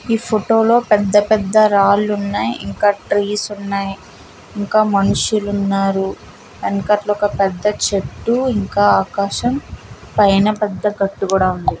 ఈ ఫోటో లో పెద్ద-పెద్ద రాళ్ళు ఉన్నాయి ఇంకా ట్రీస్ ఉన్నాయి ఇంకా మనుషులు ఉన్నారు వెనకట్ల పెద్ద చెట్టు ఇంకా ఆకాశం పైన పెద్ద గట్టు కూడా ఉంది.